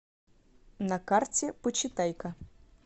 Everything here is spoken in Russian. на карте почитай ка